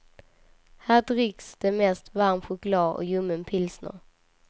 Här dricks det mest varm choklad och ljummen pilsner.